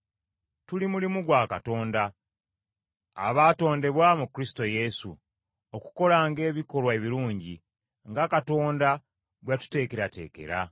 Tuli mulimu gwa Katonda, abaatondebwa mu Kristo Yesu, okukolanga ebikolwa ebirungi, nga Katonda bwe yatuteekerateekera.